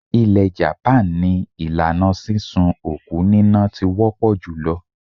Ilẹ̀ japan ni ìlànà sísun òkú níná ti wọ́ pọ̀ jùlọ.